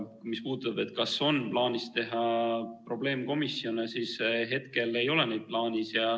Mis puudutab seda, kas on plaanis teha probleemkomisjone, siis hetkel ei ole neid plaanis.